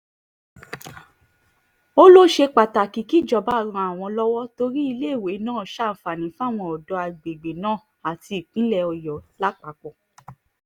ó lọ ṣe pàtàkì kíjọba ran àwọn lọ́wọ́ torí iléèwé náà ṣàǹfààní fáwọn ọ̀dọ́ àgbègbè náà àti ìpínlẹ̀ ọ̀yọ́ lápapọ̀